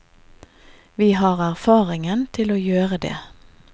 Vi har erfaringen til å gjøre det.